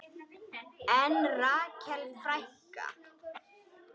En Rakel frænka?